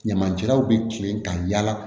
Ɲamancɛlaw bɛ kilen ka yala